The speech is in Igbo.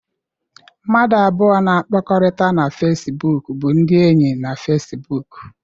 Mmadụ abụọ na-akpakọrịta na Fesibuuku bụ ndị enyi na Fesibuuku.